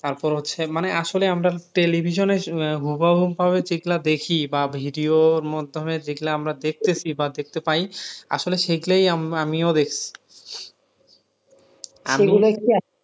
তারপর হচ্ছে মানে আসলে আমরা television এ আহ হুবাহু ভাবে যেগুলা দেখি বা video এর মাধ্যমে যেগুলো আমরা দেখতেছি বা দেখতে পায় আসলে সেগলাও আম আমিও দেখ